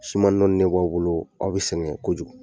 Suma nɔnnen b'aw bolo, aw be sɛgɛ kojugu.